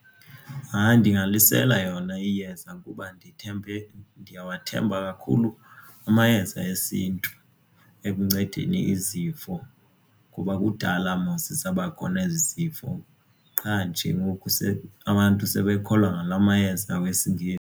Hayi, ndingalisela yona iyeza kuba ndithembe ndiyawathemba kakhulu amayeza esintu ekuncedeni izifo kuba kudala mos zaba khona ezi zifo qha nje ngoku abantu sebekholwa ngala mayeza .